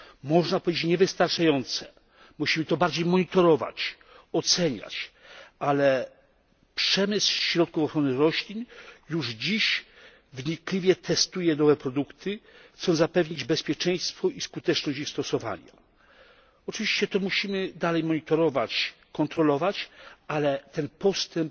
Można powiedzieć niewystarczające, musimy to bardziej monitorować, oceniać, ale przemysł środków ochrony roślin już dziś wnikliwie testuje nowe produkty, chcąc zapewnić bezpieczeństwo i skuteczność ich stosowania. Oczywiście musimy to dalej monitorować, kontrolować, ale ten postęp